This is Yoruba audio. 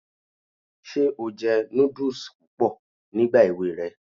Ṣé o jẹ núdùs púpọ̀ nígbà èwe rẹ?